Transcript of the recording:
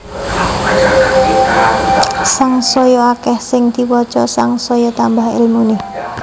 Sangsaya akeh sing diwaca sangsaya tambah ilmune